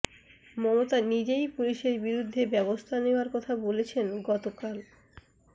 মমতা নিজেই পুলিশের বিরুদ্ধে ব্যবস্থা নেওয়ার কথা বলেছেন গতকাল